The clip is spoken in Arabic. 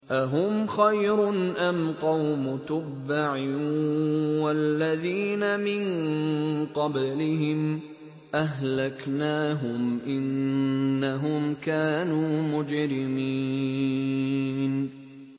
أَهُمْ خَيْرٌ أَمْ قَوْمُ تُبَّعٍ وَالَّذِينَ مِن قَبْلِهِمْ ۚ أَهْلَكْنَاهُمْ ۖ إِنَّهُمْ كَانُوا مُجْرِمِينَ